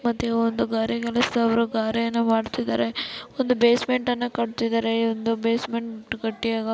ಮತ್ತೆ ಒಂದು ಗಾರೆ ಕೆಲಸದವರು ಗಾರೆಯನ್ನ ಮಾಡುತ್ತಿದ್ದಾರ. ಒಂದು ಬೇಸ್ಮೆಂಟ್ ನ್ನು ಕಟ್ಟುತ್ತಿದ್ದಾರೆ. ಒಂದು ಬೇಸ್ಮೆಂಟ್ ಗಟ್ಟಿಯಾಗ --